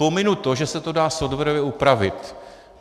Pominu to, že se to dá softwarově upravit.